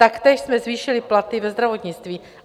Taktéž jsme zvýšili platy ve zdravotnictví.